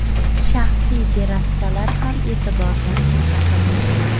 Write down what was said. Shaxsiy terrasalar ham e’tibordan chetda qolmagan.